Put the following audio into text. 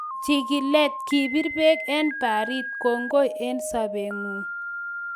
Chigilet: Kebir beek en baarit ko ng'oi en sobeng'ung